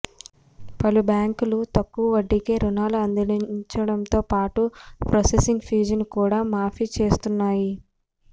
పలు బ్యాంకులు తక్కువ వడ్డీకే రుణాలు అందించడంతోపాటు ప్రాసెసింగ్ ఫీజును కూడా మాఫీ చేస్తున్నాయి